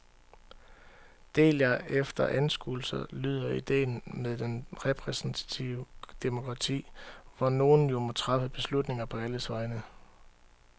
Del jer efter anskuelser lyder idéen med det repræsentative demokrati, hvor nogle jo må træffe beslutninger på alles vegne.